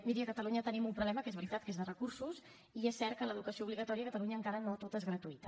miri a catalunya tenim un problema que és veritat que és de recursos i és cert que l’educació obligatòria a catalunya encara no tota és gratuïta